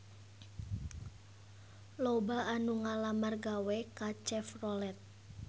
Loba anu ngalamar gawe ka Chevrolet